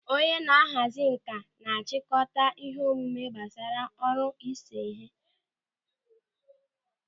Onye na-ahazi nkà na-chịkọta ihe omume gbasara ọrụ ịse ịhe.